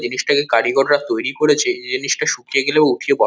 জিনিসটাকে কারিগররা তৈরী করেছে। এই জিনিসটা শুকিয়ে গেলেও উঠিয়ে বা--